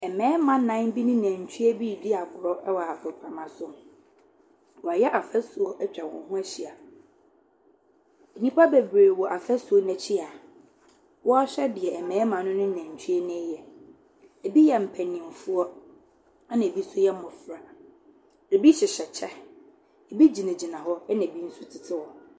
Mmarima nnan bi ne nantwie bi redi agorɔ wɔ agoprama so. Wɔayɛ fasuo atwa wɔn ho ahyia. Nnipa bebree wɔ fasuo no akyi a wɔrehwɛ deɛ mmarima no ne nantwie no reyɛ. Ebi yɛ mpanimfoɔ, ɛnna bi yɛ mmɔfra. Ebi hyehyɛ kyɛ. Ebi gyinagyina hɔ, ɛnna ebi nso tete hɔ.